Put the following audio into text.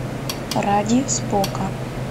ради спока